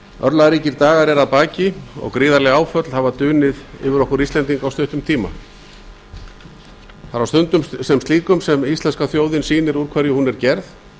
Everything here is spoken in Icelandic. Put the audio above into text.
örlagaríkir dagar eru að baki og gríðarleg áföll hafa dunið yfir okkur íslendinga á stuttum tíma það er á slíkum stundum sem íslenska þjóðin sýnir úr hverju hún er gerð